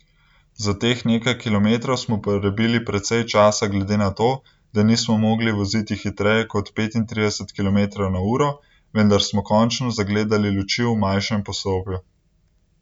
Za teh nekaj kilometrov smo porabili precej časa glede na to, da nismo mogli voziti hitreje kot petintrideset kilometrov na uro, vendar smo končno zagledali luči v manjšem poslopju.